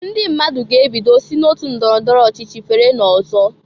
Ndị mmadụ ga-ebido si n'otu ndọrọ ndọrọ ochichi fere n'ọzọ.